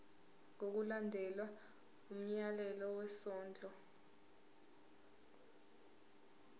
ngokulandela umyalelo wesondlo